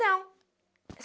Não.